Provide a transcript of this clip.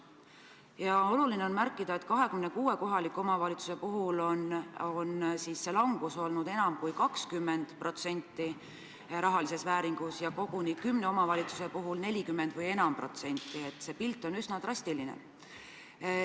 Ja oluline on märkida, et 26 kohaliku omavalitsuse puhul on see vähenemine olnud rahaliselt enam kui 20% ja koguni kümne omavalitsuse puhul vähemalt 40%, nii et see pilt on üsna drastiline.